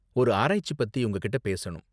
ஒரு ஆராய்ச்சி பத்தி உங்ககிட்ட பேசணும்.